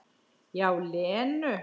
Já, Lenu.